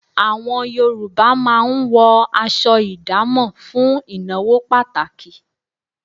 Àwọn Yorùbá máa ń wọ aṣọ ìdámọ̀ fún ìnáwó pàtàkì